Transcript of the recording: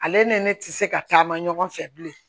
Ale ni ne ne ti se ka taama ɲɔgɔn fɛ bilen